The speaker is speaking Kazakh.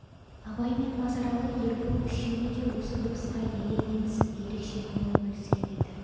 абай мен базаралы ербол үшеуі де осы дыбысқа елең етісіп ерекше көңіл бөліскен еді